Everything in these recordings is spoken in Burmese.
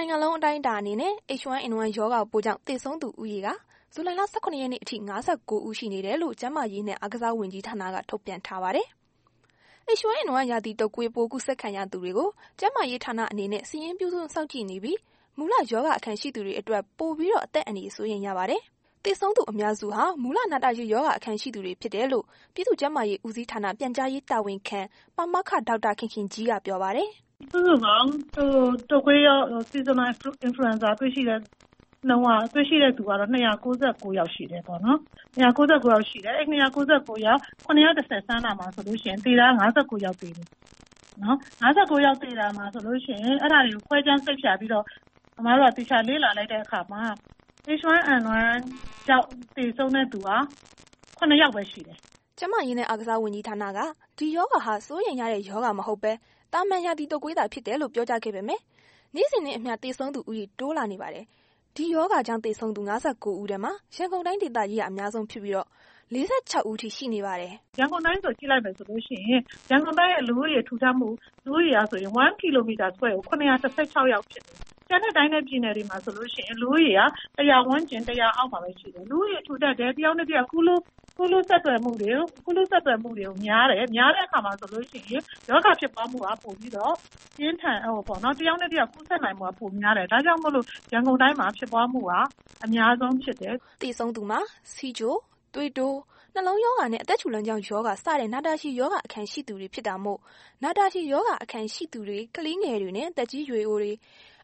ိုင်ငံလုံး အတိုင်းအတာအနေနဲ့ H1N1 ရောဂါပိုးကြောင့် သေဆုံးသူ ဦးရေမှာ ဇူလိုင် ၁၇ ရက်နေ့ အထိ ၅၉ ဦး ရှိနေတယ်လို့ ကျန်းမာရေးနဲ့ အားကစားဝန်ကြီးဌာနက ထုန်ပြန် ထားပါတယ်။ H1N1 ရာသီတုပ်ကွေးပိုး ကူးစက်ခံရသူတွေကို ကျန်းမာရေးဌာနအနေနဲ့ စာရင်းပြု စောင့်ကြည့်နေပြီး၊ မူလ ရောဂါအခံရှိသူတွေအတွက်ပိုပြီးတော့ အသက်အန္တရာယ် စိုးရိမ် ရပါတယ်။ သေဆုံးသူအများစုဟာ မူလ နာတာရှည် ရောဂါအခံရှိသူတွေ ဖြစ်တယ်လို့ ပြည်သူ့ ကျန်းမာရေးဦးစီးဌာန ပြန်ကြားရေးတာဝန်ခံ ပါမောက္ခ ဒေါက်တာခင်ခင်ကြီးက ပြောပါတယ်။ “ စုစုပေါင်း ရာသီတုပ်ကွေးရောဂါ စုစုပေါင်းတွေ့ရှိတဲ့ နှုန်းက တွေ့ရှိတဲ့သူက ၂၉၉ ဦး ရှိတယ်ပေါ့နော် အဲ့ဒီ ၂၉၉ ဦးမှာ ၇၁၀ စမ်းတာဆိုရင် သေတာ ၅၉ ယောက် သေတယ်။ ၅၉ ယောက် သေတာမှာ ဆိုရင် အဲ့ဒါတွေ ခွဲခြားစိတ်ဖြာပြီးတော့ အစ်မတို့က သေချာလေ့လာလိုက်တဲ့အခါမှာ H1N1 ကြောင့် သေဆုံးတဲ့ သူက ၇ ယောက်ပဲရှိတယ်။” ကျန်းမာရေးနဲ့ အားကစားဝန်ကြီးဌာနက ဒီရောဂါဟာ စိုးရိမ်ရတဲ့ ရောဂါမဟုတ်ပဲ သာမာန် ရာသီတုပ်ကွေးသာ ဖြစ်တယ်လို့ ပြောကြားခဲ့ပေမယ့် နေ့စဉ်နဲ့အမျှ သေဆုံးသူဦးရေ တိုးလာနေပါတယ်။ ဒီရောဂါကြောင့် သေဆုံးသူ ၅၉ ဦးထဲမှာ ရန်ကုန်တိုင်းဒေသကြီးက အများဆုံးဖြစ်ပြီး ၄၆ ဦးအထိရှိနေပါတယ်။ “ ရန်ကုန်တိုင်းကို ကြည့်လိုက်မယ်ဆိုရင် ရန်ကုန်တိုင်းရဲ့ လူဦးရေ ထူထပ်မှုအရ 1 kilometer square ကို ၇၁၆ ရှိတယ်။ ကျန်တဲ့တိုင်းနဲ့ပြည်မှာဆိုလို့ရှိရင် လူဦးရေက ၁၀၀ ဝန်းကျင် ၁၀၀ အောက်မှာပဲ ရှိတယ်။ လူဦးရေထူထပ်တယ် တစ်ယောက်နဲ့တစ်ယောက် ကူးလူးဆက်ဆံများတယ်။ များတဲ့အခါမှာဆိုလို့ရှိရင် ရောဂါကူးစက်တာ တစ်ယောက်နဲ့တစ်ယောက်ကူးစက်နိုင်မှုက ပိုများတယ်။ ဒါကြောင့် ရန်ကုန်တိုင်းမှာ ဖြစ်ပွားမှုက အများဆုံးဖြစ်တာ။” သေဆုံးသူမှာ ဆီးချို၊ သွေးတိုး၊ နှလုံးရောဂါနဲ့ အသက်ရှူလမ်းကြောင်းရောဂါ စတဲ့ နာတာရှည်ရောဂါ အခံရှိသူများ ဖြစ်တာမို့ နာတာရှည်ရောဂါအခံရှိသူများ ကလေးငယ်များနဲ့ သက်ကြီးရွယ်အိုများ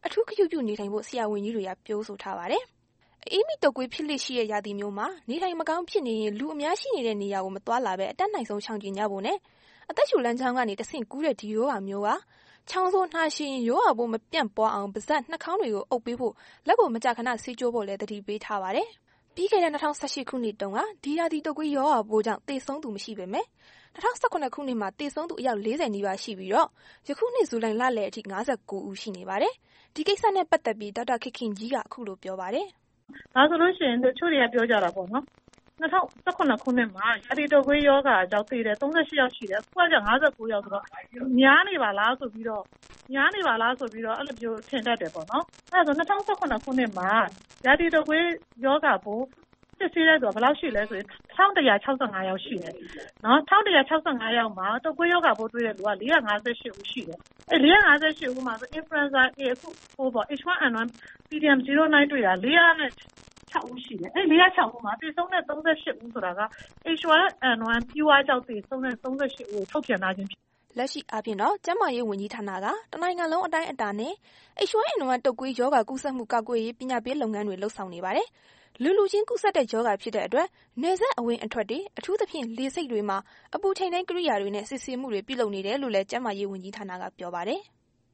အထူးဂရုပြုနေထိုင်ဖို့ ဆရာဝန်ကြီးများက ပြောဆိုထားပါတယ်။ အအေးမိတုပ်ကွေး ဖြစ်လေ့ရှိတဲ့ ရာသီမျိုးမှာ နေထိုင်မကောင်းဖြစ်နေရင် လူအများရှိတဲ့နေရာ မသွားလာဘဲ အတတ်နိုင်ဆုံး ရှောင်ကြဉ်ကြဖို့နဲ့ အသက်ရှူလမ်းကြောင်းကနေ တဆင့် ကူးတဲ့ ဒီရောဂါမျိုးက ချောင်းဆိုး၊ နှာချေရင် ရောဂါပိုးမပြန့်ပွားအောင် ပါးစပ် နှာခေါင်းတွေကို အုပ်ပေးဖို့ လက်ကိုမကြာခဏ ဆေးကြောဖို့လည်း သတိပေးထားပါတယ်။ ပြီးခဲ့တဲ့ ၂၀၁၈ ခုနှစ်တုန်းက ဒီရာသီတုပ်ကွေးရောဂါပိုးကြောင့် သေဆုံးသူ မရှိပေမယ့် ၂၀၁၇ ခုနှစ်မှာ သေဆုံးသူ အယောက် ၄၀ နီးပါးရှိပြီး ယခုနှစ် ဒီဇူလိုင်လလယ်အထိ ၅၉ ဦးရှိပါတယ်။ ဒီကိစ္စနဲ့ ပတ်သက်ပြီး ဒေါက်တာခင်ခင်ကြီးက အခုလိုဆက်ပြောပါတယ်။ “ တစ်ချို့တွေက ပြောကြတယ်ပေါ့နော် ၂၀၁၇ ခုနှစ် ရာသီတုပ်ကွေးရောဂါကြောင့် သေတာ ၃၈ ဦးရှိတယ်။ အခုက ၅၉ ယောက်ဆိုတော့ များနေပါလားဆိုပြီးတော့ အဲ့လိုမျိုး ထင်တတ်တာပေါ့နော်။ အဲ့လိုဆို ၂၀၁၇ ခုနှစ်မှာ ရာသီတုပ်ကွေးရောဂါပိုး စစ်ဆေးတဲ့သူ ၁၁၆၅ ယောက်ရှိတယ်။ တုပ်ကွေးရောဂါပိုး တွေ့ရှိသူက ၄၅၈ ဦးရှိတယ်။ အဲဒီ ၄၅၈ ဦးမှာ အခု ဖြစ်တဲ့ H1N1 pdm09 တွေ့သူတဲ့က ၄၀၆ ဦးရှိတယ်၊ အဲ့ဒီသေဆုံး ၃၈ ဦးက H1N1 pure ကြောင့် သေဆုံးတာ ၃၈ ဦးလို့ ထုတ်ပြန်ထားတာဖြစ်တယ်။” လက်ရှိအားဖြင့်တော့ ကျန်းမာရေးဝန်ကြီးဌာနက တစ်နိုင်ငံလုံး အတိုင်းအတာ နဲ့ H1N1 တုပ်ကွေးရောဂါ ကူးစက်မှုကာကွယ်ရေး ပညာပေးလုပ်ငန်းတွေ လုပ်ဆောင်နေပါတယ်။ လူလူချင်းကူးစက်တဲ့ ရောဂါဖြစ်တဲ့အတွက် နယ်စပ်အဝင်အထွက်တွေ အထူးသဖြင့် လေဆိပ်တွေမှာ အပူချိန်တိုင်းကိရိယာတွေနဲ့ စစ်ဆေးမှုတွေ ပြုလုပ်နေတယ်လို့လည်း ကျန်းမာရေးဦးဌာနက ပြောပါတယ်။